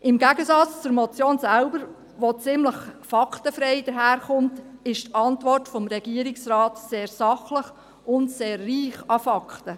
Im Gegensatz zur Motion selbst, die ziemlich faktenfrei daherkommt, ist die Antwort des Regierungsrats sehr sachlich und sehr reich an Fakten.